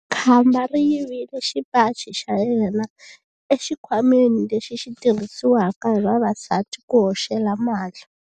Khamba ri yivile xipaci xa yena exikhwameni lexi xi tirhisiwaka hi vavasati ku hoxela mali.